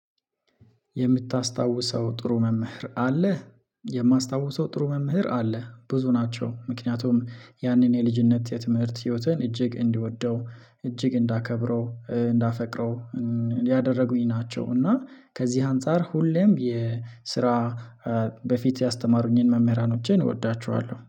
የምታስታውሰው ጥሩ መምህር አለ። የማስታውሰው ጥሩ መምህር አለ። ብዙ ናቸው ምክንያቱም ያንን የልጅነት የትምህርት ህይወቴን እጅግ እንዲወደው እጅግ እንዳከብረው እንዳፈቅረው ያደረጉኝ ናቸው። እና ከዚህ አንፃር ሁሌም የስራ በፊት ያስተማሩኝን መምህራኖቼን እወዳቸዋለሁ